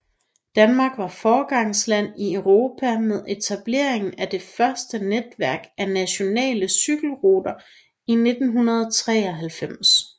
Danmark var foregangsland i Europa med etableringen af det første netværk af nationale cykelrute i 1993